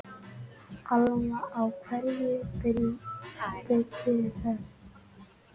Alma: Á hverju byggirðu það?